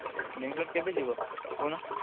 ବାଙ୍ଗଲୋର କେବେ ଯିବ କହୁନ?